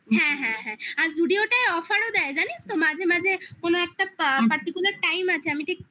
হ্যাঁ হ্যাঁ হ্যাঁ আর zudio টায় offer দেয় জানিস তো মাঝে মাঝে কোন একটা particular time আছে আমি ঠিক